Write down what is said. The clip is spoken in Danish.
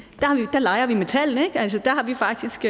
leger vi med tallene der har vi faktisk